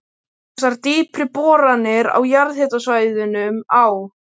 Þessar dýpri boranir á jarðhitasvæðunum á